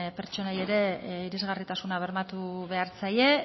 pertsonei ere irisgarritasuna bermatu behar zaie